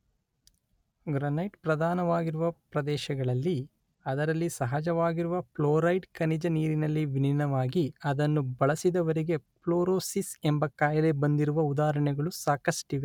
granite ಪ್ರಧಾನವಾಗಿರುವ ಪ್ರದೇಶಗಳಲ್ಲಿ ಅದರಲ್ಲಿ ಸಹಜವಾಗಿರುವ ಫ್ಲೂರೈಡ್ ಖನಿಜ ನೀರಿನಲ್ಲಿ ವಿಲೀನವಾಗಿ ಅದನ್ನು ಬಳಸಿದವರಿಗೆ ಪ್ಲೂರೋಸಿಸ್ ಎಂಬ ಕಾಯಿಲೆ ಬಂದಿರುವ ಉದಾಹರಣೆಗಳು ಸಾಕಷ್ಟಿವೆ